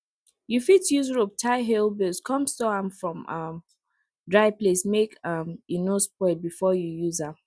you fit use rope tie hay bales come store am for um dry place make um e no spoil before you use am